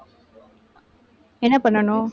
என்ன பண்ணணும்